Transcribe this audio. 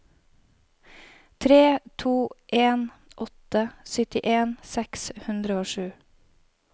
tre to en åtte syttien seks hundre og sju